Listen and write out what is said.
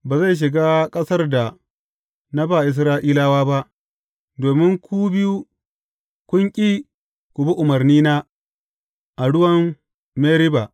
Ba zai shiga ƙasar da na ba Isra’ilawa ba, domin ku biyu, kun ƙi ku bi umarnina a ruwan Meriba.